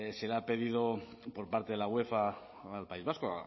se le ha pedido por parte de la uefa al país vasco